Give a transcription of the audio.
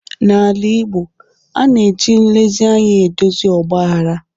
N'ala Igbo, a na-eji nlezi anya edozi ọgbaghara.